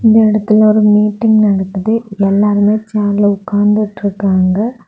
இந்த இடத்துல ஒரு மீட்டிங் நடக்குது எல்லாருமே சேர்ல உக்காந்துட்ருக்காங்க.